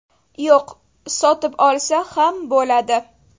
Yo‘q, sotib olsa ham bo‘ladi.